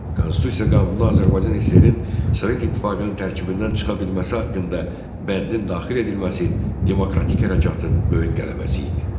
Konstitusiya qanununa Azərbaycan SSR-in Sovet İttifaqının tərkibindən çıxa bilməsi haqqında bəndin daxil edilməsi demokratik hərəkatın böyük qələbəsi idi.